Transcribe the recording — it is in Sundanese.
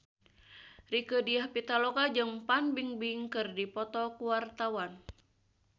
Rieke Diah Pitaloka jeung Fan Bingbing keur dipoto ku wartawan